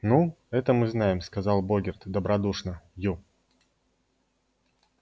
ну это мы знаем сказал богерт добродушно ю